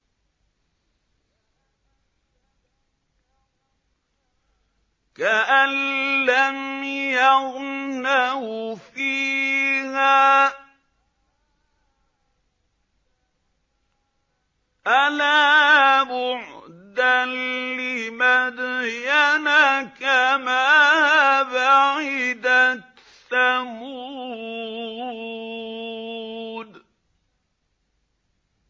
كَأَن لَّمْ يَغْنَوْا فِيهَا ۗ أَلَا بُعْدًا لِّمَدْيَنَ كَمَا بَعِدَتْ ثَمُودُ